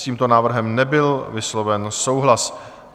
S tímto návrhem nebyl vysloven souhlas.